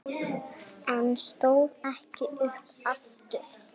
En stóð ekki upp aftur.